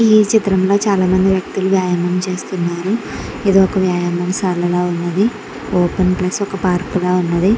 ఈ చిత్రంలో చాలామంది వ్యక్తులు వ్యాయామం చేస్తున్నారు ఇది ఒక వ్యాయామ శాలలా ఉన్నది ఓపెన్ ప్లేస్ ఒక పార్క్ లా ఉన్నది.